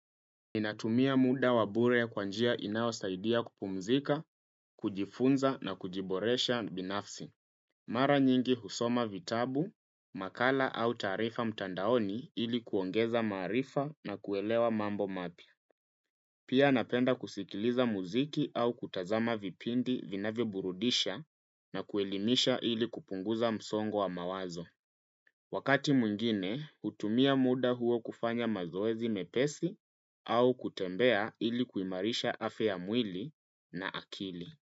Ninatumia muda wa bure ya kwanjia inayosaidia kupumzika, kujifunza na kujiboresha binafsi. Mara nyingi husoma vitabu, makala au taarifa mtandaoni ili kuongeza maarifa na kuelewa mambo mapya. Pia napenda kusikiliza muziki au kutazama vipindi vinavyoburudisha na kuelimisha ili kupunguza msongo wa mawazo. Wakati mwingine, hutumia muda huo kufanya mazoezi mepesi au kutembea ilikuimarisha afya ya mwili na akili.